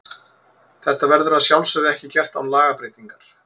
Þetta verður að sjálfsögðu ekki gert án lagabreytingar.